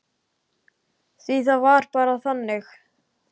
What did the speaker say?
Því það var bara þannig.